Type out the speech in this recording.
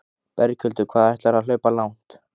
Berghildur: Hvað ætlarðu að hlaupa langt?